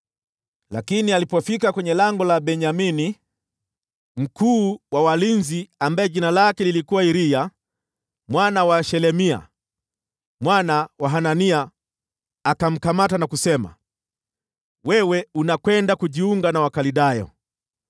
Lakini alipofika kwenye Lango la Benyamini, mkuu wa walinzi, ambaye jina lake lilikuwa Iriya mwana wa Shelemia mwana wa Hanania, akamkamata Yeremia na kusema, “Wewe unakwenda kujiunga na Wakaldayo!”